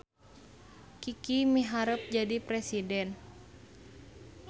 Kiki miharep jadi presiden